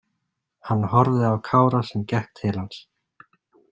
Hann horfði á Kára sem gekk til hans.